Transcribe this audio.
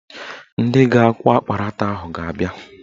Ndị ga-akwọ akparata ahụ ga-abịa